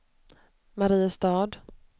Mariestad